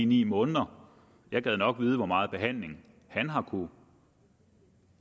ni måneder jeg gad nok vide hvor meget behandling han har kunnet